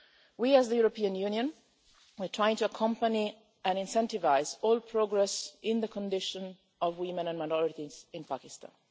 We, as the European Union, are trying to accompany and incentivise all progress in the condition of women and minorities in Pakistan.